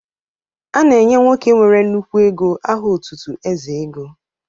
A na-enye nwoke nwere nnukwu ego aha otutu Eze ego